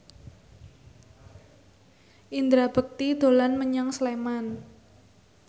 Indra Bekti dolan menyang Sleman